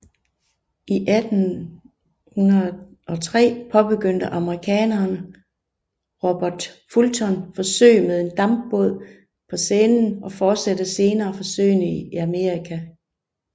I 1803 påbegyndte amerikaneren Robert Fulton forsøg med en dampbåd på Seinen og fortsatte senere forsøgene i Amerika